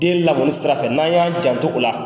Den lamɔni sira fɛ n'an y'an jan to o la